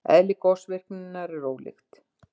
Eðli gosvirkninnar er ólíkt.